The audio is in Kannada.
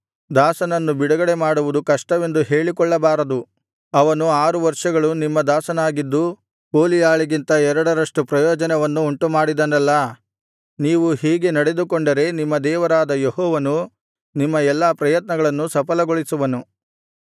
ದಾಸನನ್ನು ಬಿಡುಗಡೆಮಾಡುವುದು ಕಷ್ಟವೆಂದು ಹೇಳಿಕೊಳ್ಳಬಾರದು ಅವನು ಆರು ವರ್ಷಗಳು ನಿಮ್ಮ ದಾಸನಾಗಿದ್ದು ಕೂಲಿಯಾಳಿಗಿಂತ ಎರಡರಷ್ಟು ಪ್ರಯೋಜನವನ್ನು ಉಂಟುಮಾಡಿದನಲ್ಲಾ ನೀವು ಹೀಗೆ ನಡೆದುಕೊಂಡರೆ ನಿಮ್ಮ ದೇವರಾದ ಯೆಹೋವನು ನಿಮ್ಮ ಎಲ್ಲಾ ಪ್ರಯತ್ನಗಳನ್ನು ಸಫಲಗೊಳಿಸುವನು